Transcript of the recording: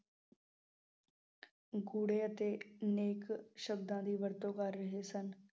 ਗੂੜੇ ਅਤੇ ਨੇਕ ਸ਼ਬਦਾਂ ਦੀ ਵਰਤੋਂ ਕਰ ਰਹੇ ਸਨ।